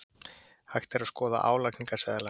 Hægt að skoða álagningarseðla